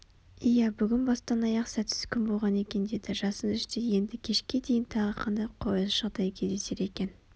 иә бүгін бастан-аяқ сәтсіз күн болған екен деді жасын іштей енді кешке дейін тағы қандай қолайсыз жағдай кездесер екен